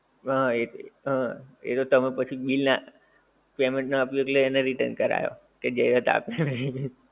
હા એ હા એ તો તમે પછી bill ના આપ્યું એટલે એને return કરાવ્યો કે જે હતા